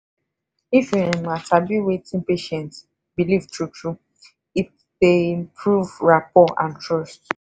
if you um sabi wetin patient belief true true it dey improve rapor and trust.